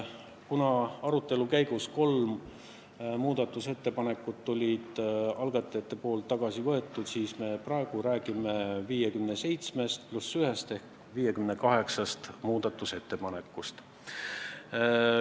Kuna arutelu käigus olid algatajad kolm muudatusettepanekut tagasi võtnud, siis me praegu räägime 57 + 1 ehk 58 muudatusettepanekust.